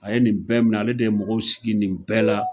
A ye nin bɛɛ minɛ, ale de ye mɔgɔw sigi nin bɛɛ la!